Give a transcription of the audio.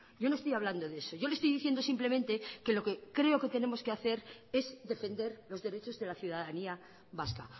yo no estoy hablando de eso yo le estoy diciendo simplemente que lo que creo que tenemos que hace es defender los derechos de la ciudadanía vasca